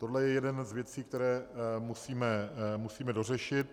Tohle je jedna z věcí, kterou musíme dořešit.